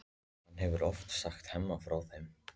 Hann hefur oft sagt Hemma frá þeim.